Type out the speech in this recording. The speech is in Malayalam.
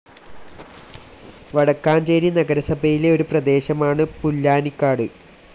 വടക്കാഞ്ചേരി നഗരസഭയിലെ ഒരു പ്രദേശമാണ് പുല്ലാനിക്കാട്‌.